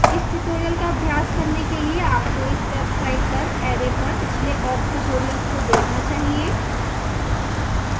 इस tutorial का अभ्यास करने के लिए आपको इस website पर array पर पिछले awk tutorials को देखना चाहिए